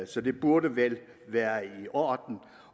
så det burde vel være i orden